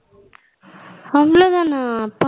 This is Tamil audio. அவளோதனா பரவ